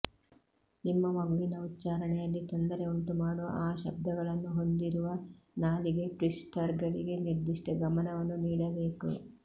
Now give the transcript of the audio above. ನಿಮ್ಮ ಮಗುವಿನ ಉಚ್ಚಾರಣೆಯಲ್ಲಿ ತೊಂದರೆ ಉಂಟುಮಾಡುವ ಆ ಶಬ್ದಗಳನ್ನು ಹೊಂದಿರುವ ನಾಲಿಗೆ ಟ್ವಿಸ್ಟರ್ಗಳಿಗೆ ನಿರ್ದಿಷ್ಟ ಗಮನವನ್ನು ನೀಡಬೇಕು